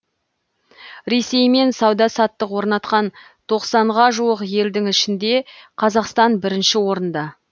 ресеймен сауда саттық орнатқан тоқсанға жуық елдің ішінде қазақстан бірінші орында